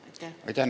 Aitäh!